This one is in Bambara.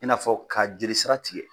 I n'a fɔ ka jeli sira tigɛ.